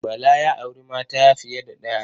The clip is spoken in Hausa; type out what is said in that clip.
Bala ya auri mata fiye da ɗaya.